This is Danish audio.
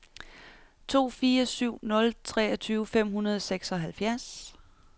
to fire syv nul treogtyve fem hundrede og seksoghalvfjerds